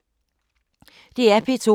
DR P2